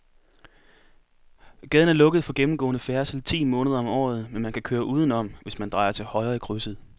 Gaden er lukket for gennemgående færdsel ti måneder om året, men man kan køre udenom, hvis man drejer til højre i krydset.